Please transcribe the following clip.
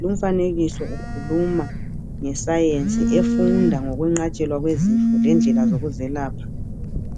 Lumfanekiso ukhuluma nge sayensi efunda ngokwenqatshelwa kwezifo lendlela zokuze lapha